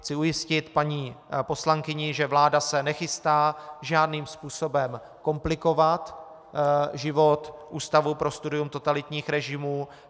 Chci ujistit paní poslankyni, že vláda se nechystá žádným způsobem komplikovat život Ústavu pro studium totalitních režimů.